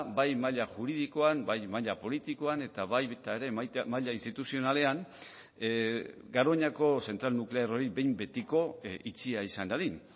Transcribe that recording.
bai maila juridikoan bai maila politikoan eta baita maila instituzionalean ere garoñako zentral nuklear hori behin betiko itxia izan dadin